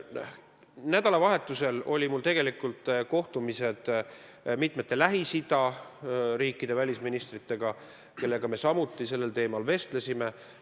Nädalavahetusel olid mul kohtumised mitmete Lähis-Ida riikide välisministritega, kellega me samuti sellel teemal vestlesime.